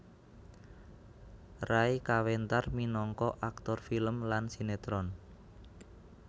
Ray kawentar minangka aktor film lan sinétron